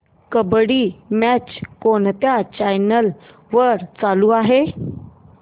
kabaddi match कोणत्या channel वर चालू आहे